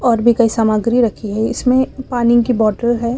और भी कई सामग्री रखी है इसमें पानी की बॉटल है।